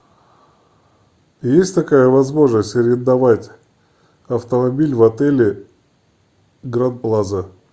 есть такая возможность арендовать автомобиль в отеле гранд плаза